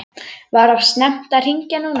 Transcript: Var of snemmt að hringja núna?